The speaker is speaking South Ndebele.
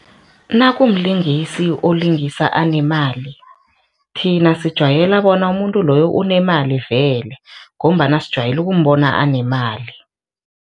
Nakumlingisi olingisa anemali, thina sijwayela bona umuntu loyo unemali vele ngombana sijwayele ukumbona anemali.